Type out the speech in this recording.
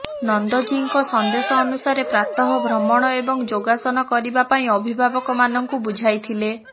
ନନ୍ଦ ଜିଙ୍କ ସନ୍ଦେଶ ଅନୁସାରେ ପ୍ରାତଃ ଭ୍ରମଣ ଏବଂ ଯୋଗାସନ କରିବା ପାଇଁ ଅଭିଭାବକ ମାନଙ୍କୁ ବୁଝାଇଥିଲେ